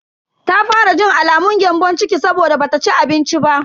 Ta fara jin alamun gyambon ciki saboda bata ci abinci ba.